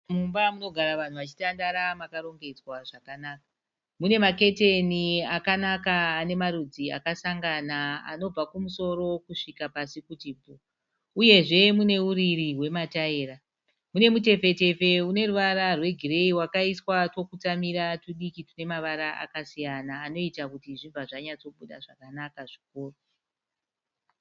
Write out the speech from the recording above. Mumba munogara vanhu vachitandara makarongedzwa zvakanaka. Munemaketeni akanaka anemarudzi akasangana anobva kumusoro kusvika pasi kuti bvuu. Uyezve muneuriri hwemataira. Munemutepfetepfe uneruvara rwegireyi wakaiswa twokutsamira tudiki tunemavara akasiyana anoita kuti zvibva zvanyatsobuda zvakanaka zvikuru.